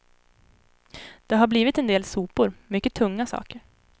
Det har blivit en del sopor, mycket tunga saker.